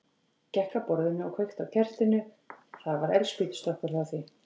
Gekk að borðinu og kveikti á kertinu, það var eldspýtustokkur hjá því.